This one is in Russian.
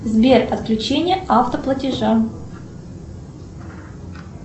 сбер отключение автоплатежа